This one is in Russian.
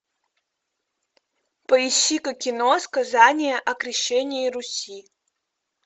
поищи ка кино сказание о крещении руси